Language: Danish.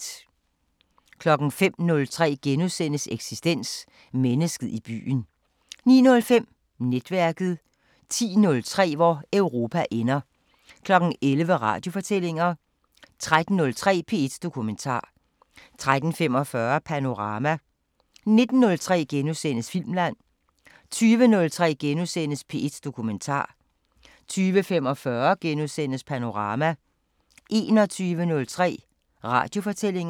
05:03: Eksistens: Mennesket i byen * 09:05: Netværket 10:03: Hvor Europa ender 11:00: Radiofortællinger 13:03: P1 Dokumentar 13:45: Panorama 19:03: Filmland * 20:03: P1 Dokumentar * 20:45: Panorama * 21:03: Radiofortællinger